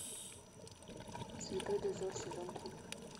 святой дозор сезон три